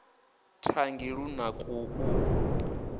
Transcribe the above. thangi lu na ku u